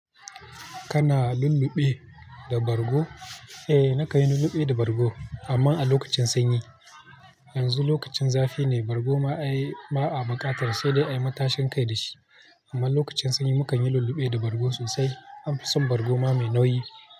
Kana lulluɓe da bargo? Eh, na kanyi lulluɓi da bargo. Amma a lokacin sanyi. Yanzu lokacin zafi ne, bargo ma ai ba'a buƙatar sai dai a yi matashin kai da shi. Amma lokacin sanyi mu kan yi lulluɓe da bargo sosai. An fi son bargo ma mai nauyi.